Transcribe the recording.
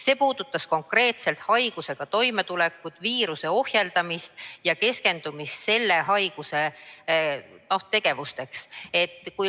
See puudutas konkreetselt selle haigusega toimetulekut, viiruse ohjeldamist ja keskendumist selle haigusega seotud tegevusele.